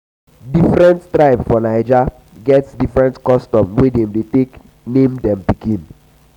different tribe for naija get different custom wey dem dey take name dem pikin.